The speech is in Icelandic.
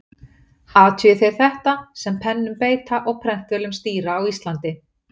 Athugi þeir þetta, sem pennum beita og prentvélum stýra á Íslandi.